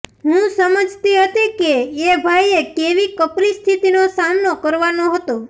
હું સમજતી હતી કે એ ભાઈએ કેવી કપરી સ્થિતિનો સામનો કરવાનો હતો